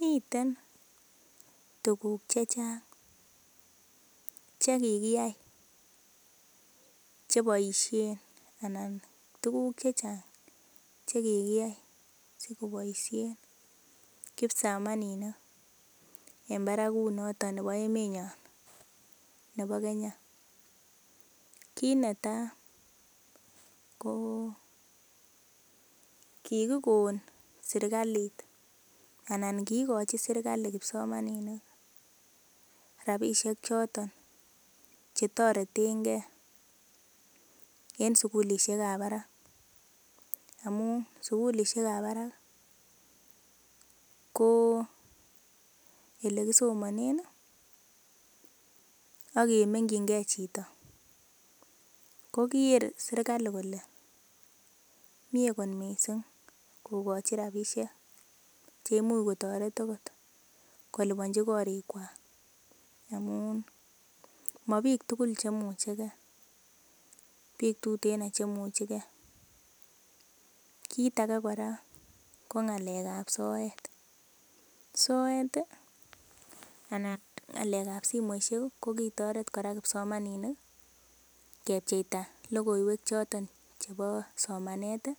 Miten tuguk chechang chekikiyai cheboisien ana tuguk chechang chekikiyai sikoboisien kipsomaninik en barakut noton nebo emenyon nebo Kenya. Kit netaa ko kikikon serkalit ana kikochi serkali kipsomaninik rapisiek choton chetoretengee en sukulisiek ab barak amun sukulisiek ab barak ko elekisomonen ak kemengyingee chito koker serkali kole mie kot missing kokochi rapisiek cheimuch kotoret okot koliponji korik kwak amu mobiik tugul chemuchegee biik tuten chemuchegee kit ake kora ko ng'alek ab soet, soet ih ana ng'alek ab simoisiek ko kitoret kipsomaninik kepcheita lokoiwek choton chebo somanet ih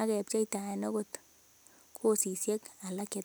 ak kepcheitaen okot kosisiek alak cheteter